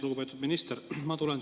Lugupeetud minister!